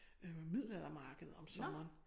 Øh middelaldermarked om sommeren